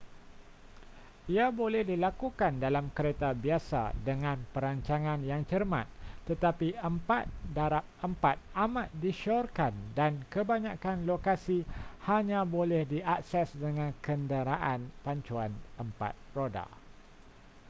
ia boleh dilakukan dalam kereta biasa dengan perancangan yang cermat tetapi 4x4 amat disyorkan dan kebanyakan lokasi hanya boleh diakses dengan kenderaan pacuan 4 roda